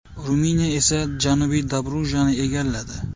Ruminiya esa Janubiy Dobrujani egalladi.